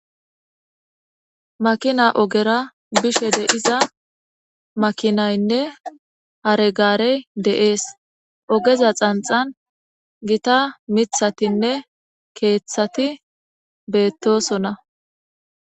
Makina ogera bishe de'iza makinaynne hare gaarey de'ees ogeza xanxan gita mithatinne keeththati beettosona.